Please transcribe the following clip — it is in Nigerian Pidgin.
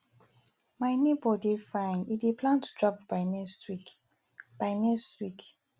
my neighbor dey fine e dey plan to travel by next week by next week